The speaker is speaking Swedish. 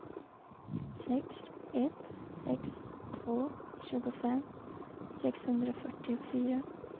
sex ett sex två tjugofem sexhundrafyrtiofyra